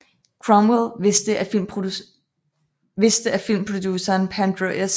Cromwell vidste at filmproduceren Pandro S